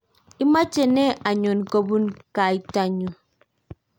imeche ne anyon kobunu kaita nyu